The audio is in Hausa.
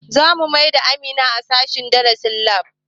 Zamu maida Amina sashen darasin lab